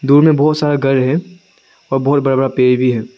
उनमे बहोत सारा घर है और बहोत बड़ा बड़ा पेड़ भी है।